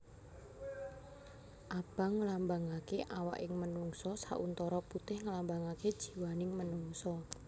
Abang nglambangaké awaking manungsa sauntara putih nglambangaké jiwaning manungsa